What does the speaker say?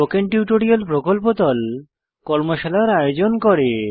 spoken tutorial প্রকল্প দল কর্মশালার আয়োজন করে